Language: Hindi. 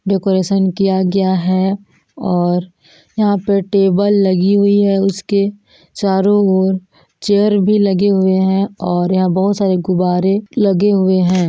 डेकोरेशन किया गया है और यहाँ पे टेबल लगे हुई है उसके चारों ओर चेयर भी लगे हुए है और यहाँ बहुत सारे गुब्बारे लगे हुए है।